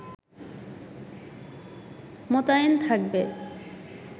মোতায়েনথাকবে